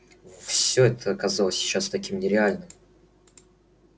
всё это казалось сейчас таким нереальным